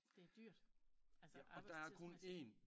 Det er dyrt altså arbejdstidsmæssigt